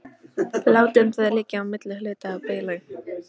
Látum það liggja á milli hluta í bili.